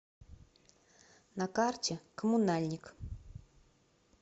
на карте коммунальник